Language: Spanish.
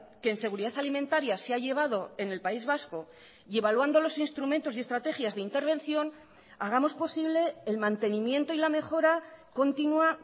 que en seguridad alimentaria se ha llevado en el país vasco y evaluando los instrumentos y estrategias de intervención hagamos posible el mantenimiento y la mejora continua